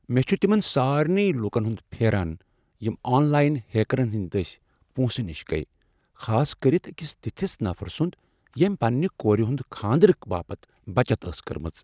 مےٚ چُھ تمن سارنٕے لوٗکن ہنٛد پھیران یم آن لاین ہیکرن ہٕنٛدۍ دٔسۍ پۄنٛسہٕ نِش گٔیۍ، خاص کٔرتھ أکس تِتھس نفرٕ سُنٛد ییٚمۍ پنٛنہِ کورِ ہُند کھاندرٕ باپتھ بچت ٲس کٔرمٕژ۔